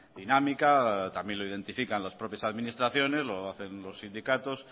dinámica también lo identifican las propias administraciones lo hacen los sindicatos